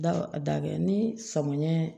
Da a da kɛ ni sɔmin